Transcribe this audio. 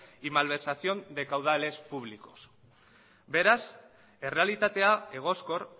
y malversación de caudales públicos beraz errealitatea egoskor